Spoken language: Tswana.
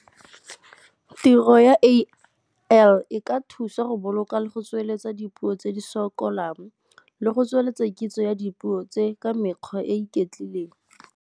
Tiro ya A_L e ka thusa go boloka le go tsweletsa dipuo tse di sokolang le go tsweletsa kitso ya dipuo tse ka mekgwa e iketlileng.